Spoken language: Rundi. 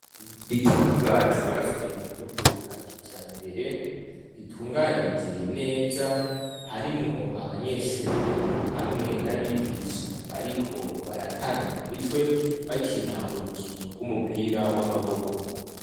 Ikibuga cubatwse mu buryo bwa kijambere, gitunganije neza. Harimwo abanyeshure hamwe n'abigisha bariko baratana mu mitwe bakina urukino rw'umupira w'amaboko.